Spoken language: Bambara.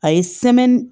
A ye